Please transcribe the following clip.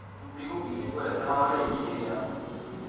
Dullingo exam આવે લ્યા એ કેવી આવે?